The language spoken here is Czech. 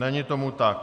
Není tomu tak.